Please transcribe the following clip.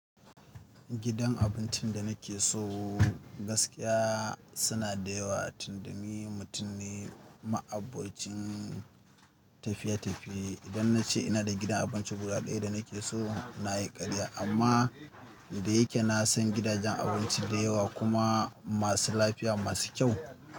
Gidan abincin da nake so gaskiya suna da yawa tunda ni mutum ne ma'abocin tafiye-tafiye. Idan na ce ina da gidan abinci guda ɗaya da nake so, na yi ƙarya. Amma da yake na san gidajen abinci da yawa kuma masu lafiya, masu kyau.